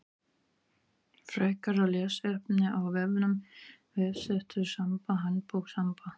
Frekara lesefni af vefnum: Vefsetur Samba Handbók Samba.